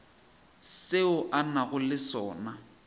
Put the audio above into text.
seo a nago le sona